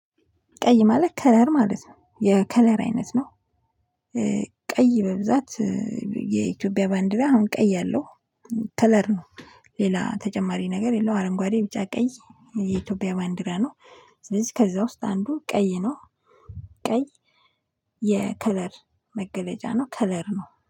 ቀይ ማለት ከለር ማለት ነው የከለር አይነት ነው። ቀይ በብዛት የኢትዮጵያ ባንዲራ አሁን ቀይ አለው ከለር ነው። ሌላ ተጨማሪ ነገር የለውም። አረንጓዴ ቢጫ ቀይ የኢትዮጵያ ማንዲራ ነው። ስለዚህ ከዛ ዉስጥ አንዱ ቀይ ነው። ቀይ የከለር መገለጫ ነው። ከለር ነው